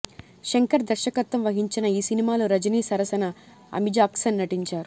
శంకర్ దర్శకత్వం వహించిన ఈ సినిమాలో రజిని సరసన అమీజాక్సన్ నటించారు